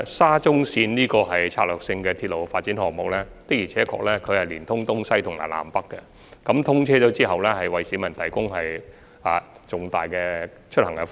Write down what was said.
沙中綫作為策略性鐵路發展項目，確實是聯通東西和南北，通車後會大大方便市民出行。